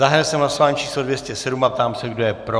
Zahájil jsem hlasování číslo 207 a ptám se, kdo je pro.